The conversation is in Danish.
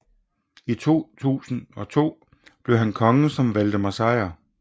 I 1202 blev han konge som Valdemar Sejr